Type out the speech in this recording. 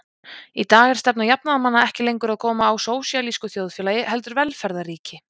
Í dag er stefna jafnaðarmanna ekki lengur að koma á sósíalísku þjóðfélagi heldur velferðarríki.